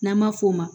N'an ma f'o ma